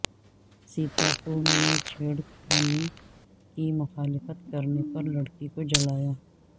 سیتاپور میں چھیڑ خانی کی مخالفت کرنے پر لڑکی کو جلایا